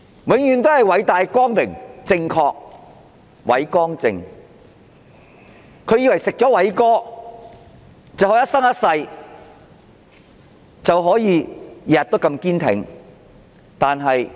永遠也是偉大、光榮、正確的"偉光正"，他們以為吃了"偉哥"，便可以一生一世、天天如此堅挺嗎？